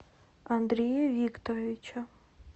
андрея викторовича